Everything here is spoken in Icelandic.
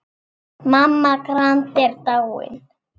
Mamma Grand er dáin.